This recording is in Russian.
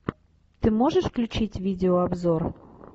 ты можешь включить видеообзор